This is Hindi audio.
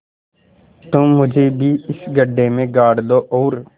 तुम मुझे भी इस गड्ढे में गाड़ दो और